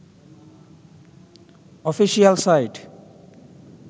official site